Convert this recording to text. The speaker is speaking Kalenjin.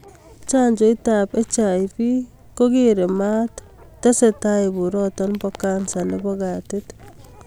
Chanjoiit ab hiv kokereii mat te testai boroto bo kansa nebo katit